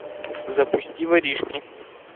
запусти воришки